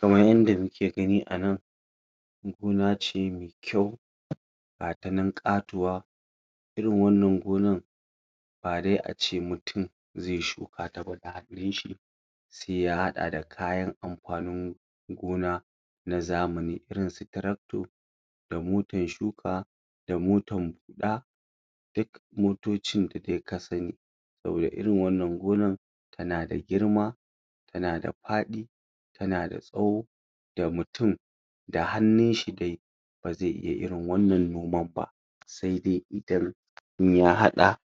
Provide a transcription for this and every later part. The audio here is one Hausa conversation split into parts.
Kaman yanda muke gani a nan gona ce mai kyau gat nan ƙatuwa irin wannan gonan ba dai ace mutum zai shuka? sai ya haɗa da kayan amfanin gona ma zamani irin su tractor da motan shuka da motan huɗa da motocin da dai ka sani saboda irin wannan gonan tana da girma tana da faɗi tana da tsawo da mutum da hannunshi dai ba zai iya irin wannan noman ba sai dai idan in ya haɗa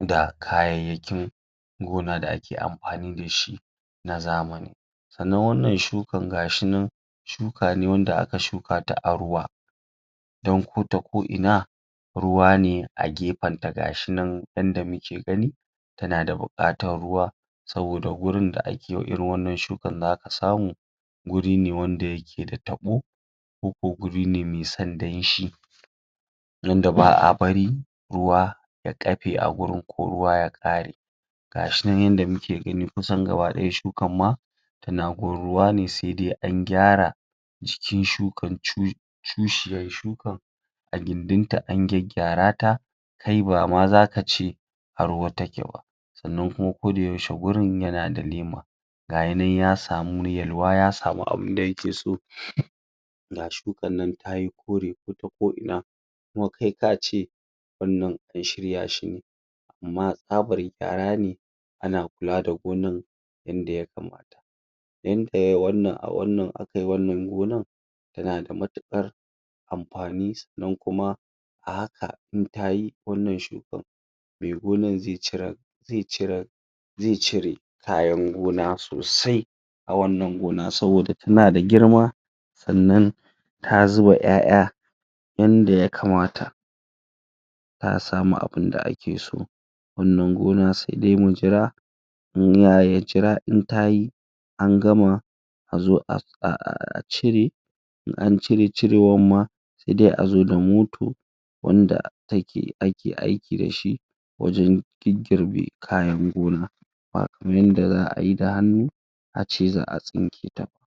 da kayayyakin gona da ake amfani da shi na zamani Sannan wannan shukan gashinan shuka ne wanda aka shuka shi a ruwa don ko ta ko ina ruwa ne a gefen ta gashinan yanda muke gani tana da buƙatan ruwa saboa gurin da ake ma irin wannan shukan zaka samu guri ne wanda yake da taɓo ko ko guri ne mai son danshi wanda ba a bari ruwa ya ƙafe a gurin ko ya ƙare gashinan yand muke gani kusan gaba ɗaya shukan ma yana gurin ruwa ne sai dai an gyara jikin shukan cushiyan shukan a gindin ta an gyaggyarata kai ba ma zaka ce a ruwa take ba Sannan kuma koda yaushe kuma gurin yana da lema gashinan ya samu yalwa ya samu abunda yake so ga shukan tayi kore ko ta ko ina kuma kai kace wannan an shirya shine amma tsabara gyara ne ana kula da gonan yanda ya kamata yanda yayi wannan a wannan aka yi wannan gonan yana da matuƙar amfani sannan kuma a haka in tayi wannan shukan mai gonan zai cire zai cire zai cire kayan gona sosai a wannan gona saboda tana da girma sannan ta zuba ƴaƴa yanda ya kamata za a samu abunda ake so wannan gona sai dai mu jira ya jira in ta yi an gama a zo a cire in an cire cirewan ma sai dai a zo da moto wanda taek ake aiki da shi wajen girbe kayan gons\a ba kaman yanda za ayi da hannu a ce za a tsinketa ba.